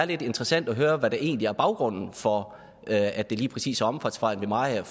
interessant at høre hvad der egentlig er baggrunden for at det lige præcis er omfartsvejen ved mariager